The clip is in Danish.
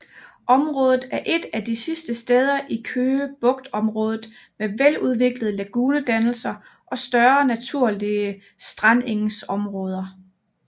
Området er et af de sidste steder i Køge Bugtområdet med veludviklede lagunedannelser og større naturlige strandengsområder